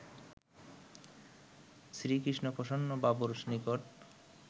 শ্রীকৃষ্ণপ্রসন্ন বাবুর নিকট